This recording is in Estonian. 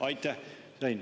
Aitäh!